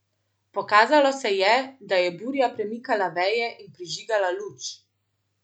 Pokazalo se je, da je burja premikala veje in prižigala luč.